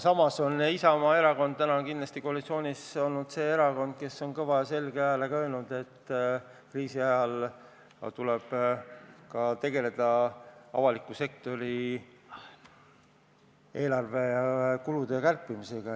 Isamaa erakond on kindlasti täna koalitsioonis olnud see erakond, kes on kõva ja selge häälega öelnud, et kriisi ajal tuleb ka tegelda avaliku sektori eelarvekulude kärpimisega.